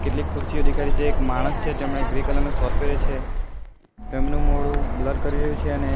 કેટલીક ખુરચીઓ દેખાઈ રહી છે અને એક માણસ છે તેમણે ગ્રે કલર નો શોટ પહેર્યો છે તેમનું મોઢું બ્લર કરી રહ્યું છે અને એ --